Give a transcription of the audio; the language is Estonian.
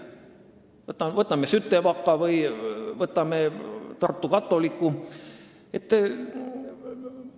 Vaatame kas või Sütevaka kooli või Tartu katoliku kooli.